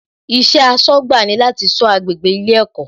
Iṣẹ́ aṣọ́gbà ni láti sọ agbègbè ilé ẹ̀kọ́